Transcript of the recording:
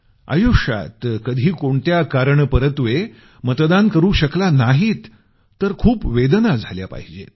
आयुष्यात कधी कोणत्या कारणपरत्वे मतदान करू शकला नाहीत तर खूप वेदना झाल्या पाहिजेत